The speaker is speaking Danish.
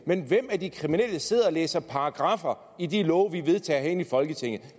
men hvem af de kriminelle sidder og læser paragraffer i de love vi vedtager herinde i folketinget